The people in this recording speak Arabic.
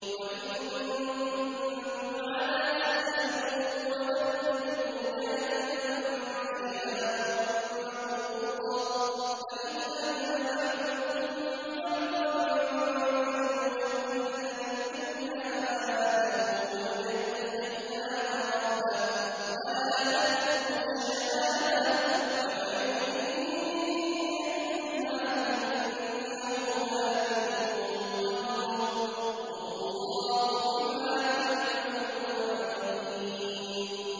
۞ وَإِن كُنتُمْ عَلَىٰ سَفَرٍ وَلَمْ تَجِدُوا كَاتِبًا فَرِهَانٌ مَّقْبُوضَةٌ ۖ فَإِنْ أَمِنَ بَعْضُكُم بَعْضًا فَلْيُؤَدِّ الَّذِي اؤْتُمِنَ أَمَانَتَهُ وَلْيَتَّقِ اللَّهَ رَبَّهُ ۗ وَلَا تَكْتُمُوا الشَّهَادَةَ ۚ وَمَن يَكْتُمْهَا فَإِنَّهُ آثِمٌ قَلْبُهُ ۗ وَاللَّهُ بِمَا تَعْمَلُونَ عَلِيمٌ